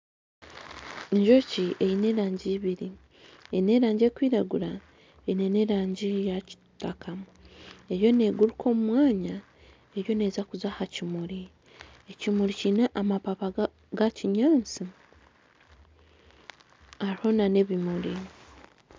Enjoki eine erangi ibiri eine erangi erikwiragura eine n'erangi ya kitaka eriyo neeguraka omu mwanya eriyo neeza kuza aha kimuri, ekimuri kiine amapapa ga kinyaatsi hariho nana ebimuri